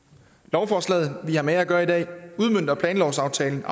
lovforslaget vi har med at gøre i dag udmønter planlovsaftalen